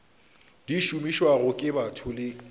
di šomišwago ke batho le